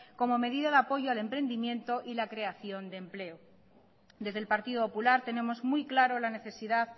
como medida de apoyo al emprendimiento y la creación de empleo desde el partido popular tenemos muy claro la necesidad